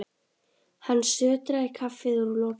Hann sötraði kaffið úr lokinu.